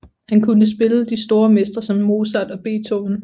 Han kunne spille de store mestre som Mozart og Beethoven